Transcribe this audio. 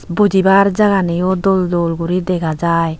Bujibaar jaganiyo dol dol gori dega jaai.